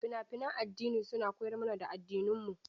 Fina-finan addini suna koyar mana da addininmu.